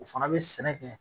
O fana be sɛnɛ kɛ